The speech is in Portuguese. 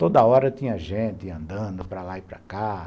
Toda hora tinha gente andando para lá e para cá.